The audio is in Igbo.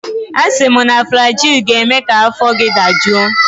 Asị m, flajilụ ga-eme ka afọ gị dajụọ!